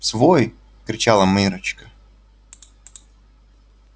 свой кричала миррочка